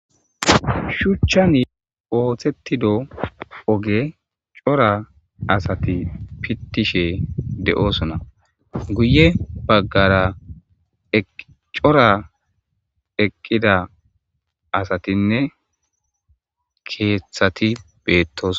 shuchchani ooththettido oge cora asati pittishe de7osona guye baggara cora eqqida asatinne keeththati beettos